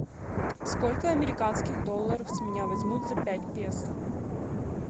сколько американских долларов с меня возьмут за пять песо